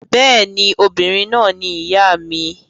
Bẹ́ẹ̀ ni, obìnrin náà ni ìyá mi.